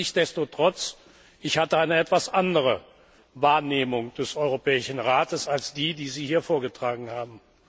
Nichtsdestotrotz, ich hatte eine etwas andere Wahrnehmung des Europäischen Rates als die, die Sie hier vorgetragen haben.